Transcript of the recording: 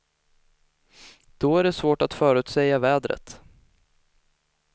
Då är det svårt att förutsäga vädret.